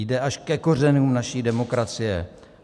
Jde až ke kořenům naší demokracie.